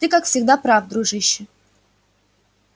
ты как всегда прав дружище